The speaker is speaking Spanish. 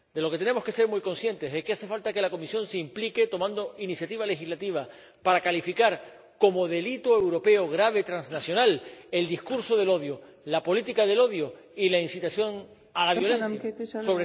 De lo que tenemos que ser muy conscientes es de que hace falta que la Comisión se implique tomando iniciativas legislativas para calificar como delito europeo grave transnacional el discurso del odio, la política del odio y la incitación a la violencia, sobre todo en las redes digitales.